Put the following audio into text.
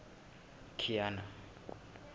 kiana